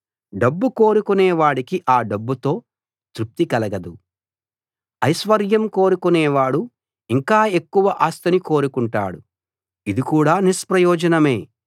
డబ్బు కోరుకునే వాడికి ఆ డబ్బుతో తృప్తి కలగదు ఐశ్వర్యం కోరుకునేవాడు ఇంకా ఎక్కువ ఆస్తిని కోరుకుంటాడు ఇది కూడా నిష్ప్రయోజనమే